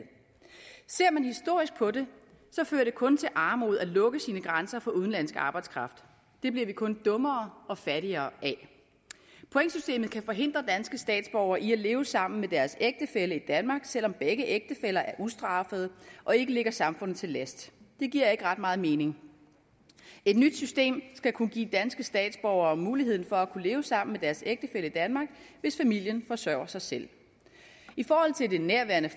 ser man historisk på det fører det kun til armod at lukke sine grænser for udenlandsk arbejdskraft det bliver vi kun dummere og fattigere af pointsystemet kan forhindre danske statsborgere i at leve sammen med deres ægtefælle i danmark selv om begge ægtefæller er ustraffede og ikke ligger samfundet til last det giver ikke ret meget mening et nyt system skal kunne give danske statsborgere muligheden for at kunne leve sammen med deres ægtefælle i danmark hvis familien forsørger sig selv i forhold til nærværende